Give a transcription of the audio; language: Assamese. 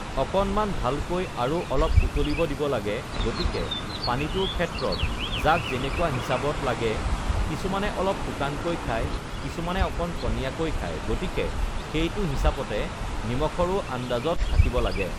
অকণমান ভালকৈ আৰু অলপ উতলিব দিব লাগে গতিকে পানীটোৰ ক্ষেত্ৰত যাক যেনেকুৱা হিচাবত লাগে কিছুমানে অলপ শুকানকৈ খায় কিছুমানে অকণ পনীয়াকৈ খায় গতিকে সেইটো হিচাপতে নিমখৰো আন্দাজত থাকিব লাগে